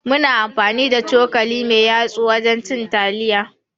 Muna amfani da cokali mai yatsu wajan cin taliya